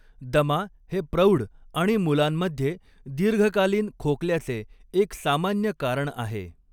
दमा हे प्रौढ आणि मुलांमध्ये दीर्घकालीन खोकल्याचे एक सामान्य कारण आहे.